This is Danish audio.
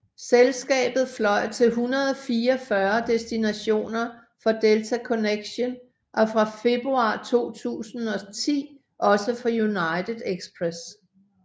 Selskabet fløj til 144 destinationer for Delta Connection og fra februar 2010 også for United Express